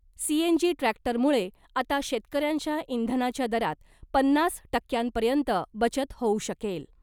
CNG ट्रॅक्टरमुळे आता शेतकऱ्यांच्या इंधनाच्या दरात पन्नास टक्क्यांपर्यंत बचत होऊ शकेल .